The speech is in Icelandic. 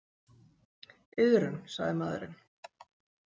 Iðrun sagði maðurinn.